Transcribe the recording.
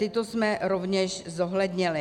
Tyto jsme rovněž zohlednili.